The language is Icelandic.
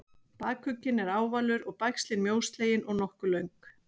bakugginn er ávalur og bægslin mjóslegin og nokkuð löng